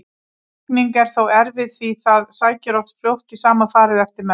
Lækning er þó erfið því það sækir oft fljótt í sama farið eftir meðferð.